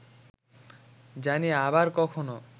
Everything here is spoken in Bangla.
জানি আবার কখনো